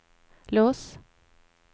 lås